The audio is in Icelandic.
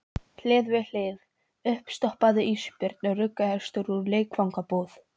Hlið við hlið: uppstoppaður ísbjörn og rugguhestur úr leikfangabúð.